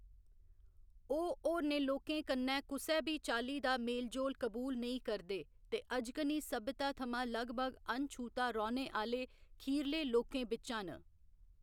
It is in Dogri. ओह्‌‌ होरनें लोकें कन्नै कुसै बी चाल्ली दा मेल जोल कबूल नेईं करदे ते अजकनी सभ्यता थमां लगभग अनछूह्‌ता रौह्‌‌‌ने आह्‌‌‌ले खीरले लोकें बिच्चा न।